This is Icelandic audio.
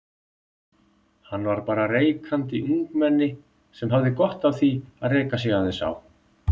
Hann var bara reikandi ungmenni sem hafði gott af því að reka sig aðeins á.